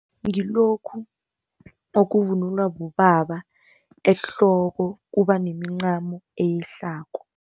Ngilokhu okuvunulwa bobaba ehloko kubanemincamo eyehlako.